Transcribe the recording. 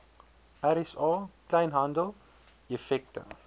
rsa kleinhandel effekte